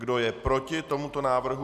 Kdo je proti tomuto návrhu?